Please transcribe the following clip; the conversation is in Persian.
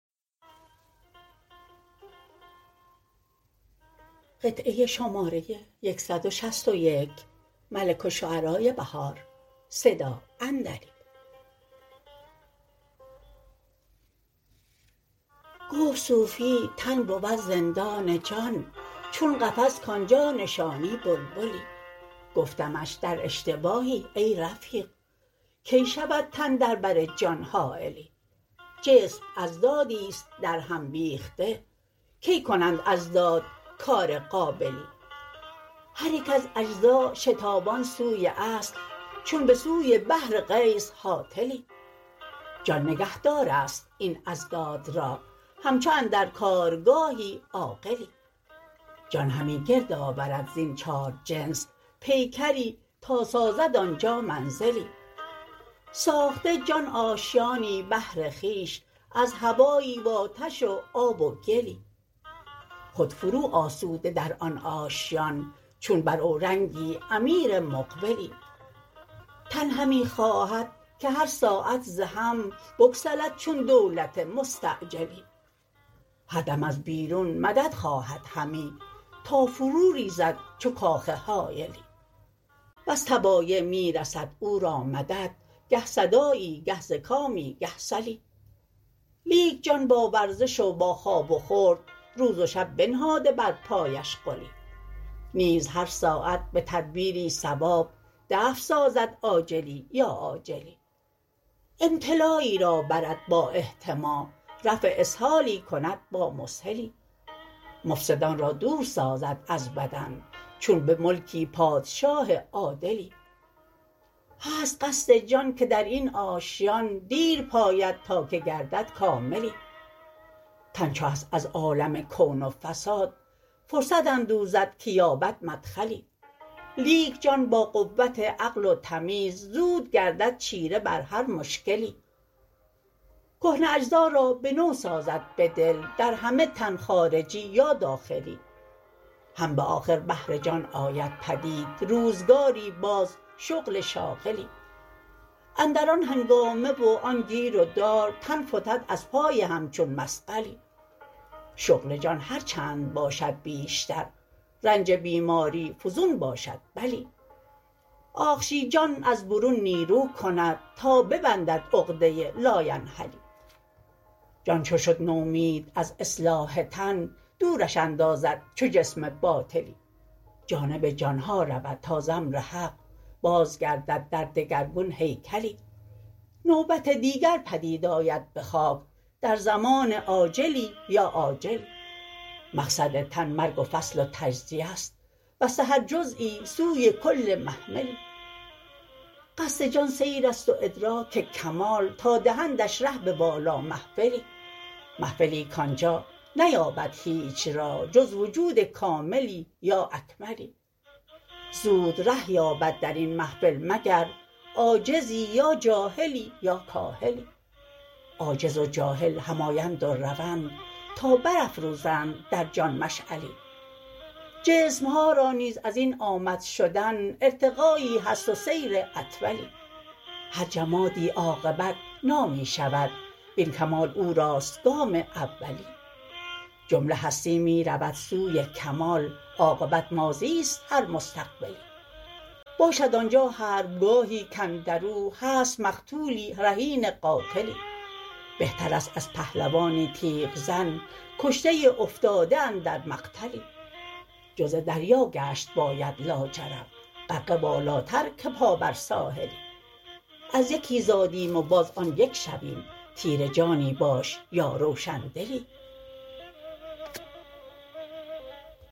گفت صوفی تن بود زندان جان چون قفس کانجا نشانی بلبلی گفتمش در اشتباهی ای رفیق کی شود تن در بر جان حایلی جسم اضدادیست درهم بیخته کی کنند اضداد کار قابلی هریک از اجزا شتابان سوی اصل چون به سوی بحرغیث هاطلی ا جان نگهدارست این اضداد را همچو اندرگارگاهی عاقلی جان همی گردآورد زین چار جنس پیکری تا سازد آنجا منزلی ساخته جان آشیانی بهر خویش از هوایی و آتش و آب و گلی خود فرو آسوده در آن آشیان چون بر اورنگی امیر مقبلی تن همی خواهدکه هر ساعت ز هم بگسلد چون دولت مستعجلی هردم از بیرون مدد خواهد همی تا فرو ریزد چو کاخ هایلی وز طبایع می رسد او را مدد گه صداعی گه زکامی گه سلی لیک جان با ورزش و با خواب و خورد روز و شب بنهاده بر پایش غلی نیز هر ساعت به تدبیری صواب دفع سازد آجلی یا عاجلی امتلایی را برد با احتما رفع اسهالی کند با مسهلی مفسدان را دور سازد از بدن چون به ملکی پادشاه عادلی هست قصد جان که در این آشیان دیر پاید تا که گردد کاملی تن چو هست از عالم کون و فساد فرصت اندوزد که یابد مدخلی لیک جان با قوت عقل و تمیز زود گردد چیره بر هر مشکلی کهنه اجزا را به نو سازد به دل در همه تن خارجی یا داخلی هم به آخر بهر جان آید پدید روزگاری باز شغل شاغلی اندر آن هنگامه و آن گیر و دار تن فتد از پای همچون مثقلی شغل جان هرچند باشد بیشتر رنج بیماری فزون باشد بلی آخشیجان از برون نیرو کند تا ببندد عقده لاینحلی جان چو شد نومید از اصلاح تن دورش اندازد چو جسم باطلی جانب جان ها رود تا ز امر حق بازگردد در دگرگون هیکلی نوبت دیگر پدید آید به خاک در زمان عاجلی یا آجلی مقصد تن مرگ و فصل و تجزیه است بسته هرجزیی سوی کل محملی قصد جان سیر است و ادراک کمال تا دهندش ره به والا محفلی محفلی کانجا نیابد هیچ راه جز وجود کاملی یا اکملی زود ره یابد درین محفل مگر عاجزی یا جاهلی یا کاهلی عاجز و جاهل هم آیند و روند تا بر افروزند در جان مشعلی جسم ها را نیز ازین آمد شدن ارتقایی هست و سیر اطولی هر جمادی عاقبت نامی شود وین کمال او راست گام اولی جمله هستی می رود سوی کمال عاقبت ماضی است هر مستقبلی باشد آنجا حربگاهی کاندرو هست مقتولی رهین قاتلی بهتر است از پهلوانی تیغ زن کشته افتاده اندر مقتلی جزء دریا گشت باید لاجرم غرقه والاتر که پا بر ساحلی از یکی زادیم و باز آن یک شویم تیره جانی باش یا روشندلی